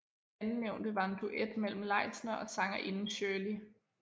Andennævnte var en duet mellem Leisner og sangerinden Szhirley